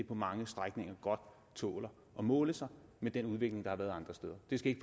på mange strækninger godt tåler at måle sig med den udvikling der har været andre steder det skal